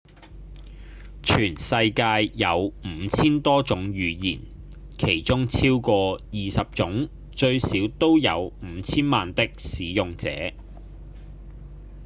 全世界有五千多種語言其中超過二十種最少都有五千萬的使用者